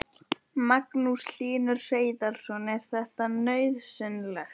Magnús Hlynur Hreiðarsson: Er þetta nauðsynlegt?